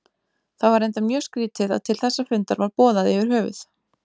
Það var reyndar mjög skrýtið að til þessa fundar var boðað yfir höfuð.